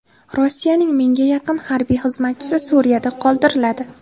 Rossiyaning mingga yaqin harbiy xizmatchisi Suriyada qoldiriladi.